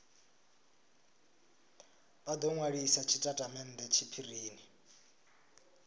vha do nwalisa tshitatamennde tshiphirini